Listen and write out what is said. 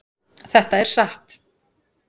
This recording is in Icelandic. Þetta er satt!